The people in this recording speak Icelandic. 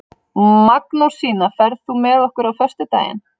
Magnúsína, ferð þú með okkur á föstudaginn?